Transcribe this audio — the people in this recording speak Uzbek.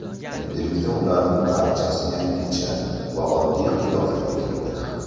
Endilikda ularning barchasi yangicha va oddiy qiyofaga kirdi.